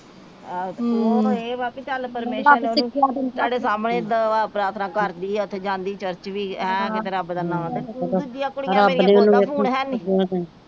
ਆਹੋ ਤੇ ਉਹਨੂੰ ਇਹ ਵਾ ਕੇ ਚਲ ਪਰਮੇਸ਼ਰ ਨੇ ਉਹਨੂੰ ਤੁਹਾਡੇ ਸਾਹਮਣੇ ਦੁਆ ਪ੍ਰਾਥਨਾ ਕਰਦੀ ਆ ਤੇ ਜਾਂਦੀ ਚਰਚ ਵੀ ਏ ਕਿਤੇ ਰੱਬ ਦਾ ਨਾ ਤੇ ਦੂਜੀਆਂ ਕੁੜੀਆਂ ਮੇਰੀਆਂ ਕੋ ਓਦਾਂ ਫੋਨ ਹੈਨੀ।